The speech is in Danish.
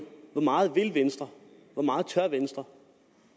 hvor meget vil venstre hvor meget tør venstre